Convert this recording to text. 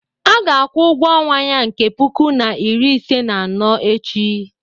a ga-akwụ ụgwọ ọnwa ya nke puku na iri ise na anọ echi